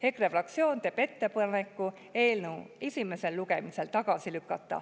EKRE fraktsioon teeb ettepaneku eelnõu esimesel lugemisel tagasi lükata.